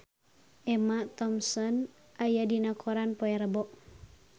Emma Thompson aya dina koran poe Rebo